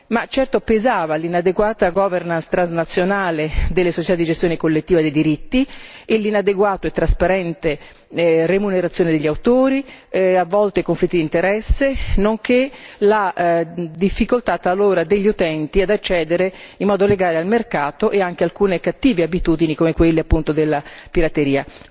Ma certo pesava l'inadeguata governance transnazionale delle società di gestione collettiva dei diritti e l'inadeguata e trasparente remunerazione degli autori, a volte conflitti di interesse, nonché la difficoltà talora degli utenti ad accedere in modo legale al mercato e anche alcune cattive abitudini come quelle appunto della pirateria.